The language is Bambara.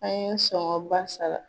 An ye sɔngɔn ba sara.